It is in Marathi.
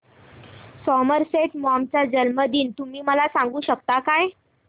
सॉमरसेट मॉम चा जन्मदिन तुम्ही मला सांगू शकता काय